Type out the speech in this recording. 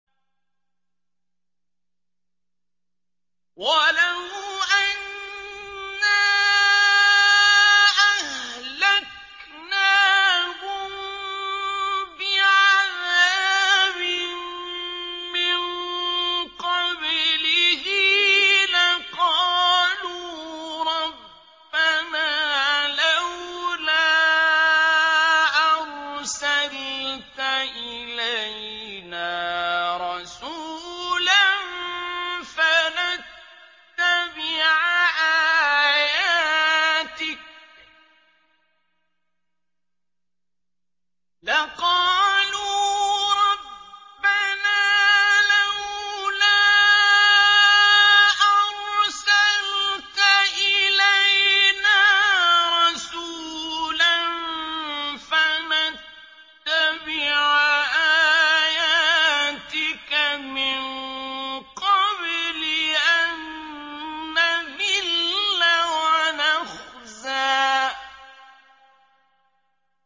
وَلَوْ أَنَّا أَهْلَكْنَاهُم بِعَذَابٍ مِّن قَبْلِهِ لَقَالُوا رَبَّنَا لَوْلَا أَرْسَلْتَ إِلَيْنَا رَسُولًا فَنَتَّبِعَ آيَاتِكَ مِن قَبْلِ أَن نَّذِلَّ وَنَخْزَىٰ